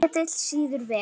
Ketill sýður vel.